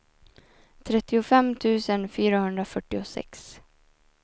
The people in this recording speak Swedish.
trettiofem tusen fyrahundrafyrtiosex